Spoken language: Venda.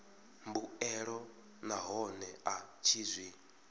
mbuelo nahone a tshi zwi